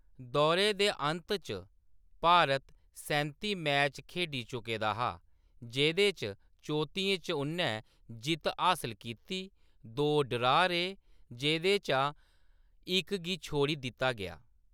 दौरे दे अंत च, भारत सैंती मैच खेढी चुके दा हा, जेह्‌‌दे चा चौत्तियें च उʼन्नै जित्त हासल कीती, दो ड्रा रेह्, जेह्‌‌दे चा इक गी छोड़ी दित्ता गेआ।